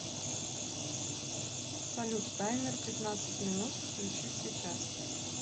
салют таймер пятнадцать минут включить сейчас